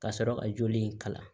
Ka sɔrɔ ka joli in kalan